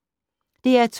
DR2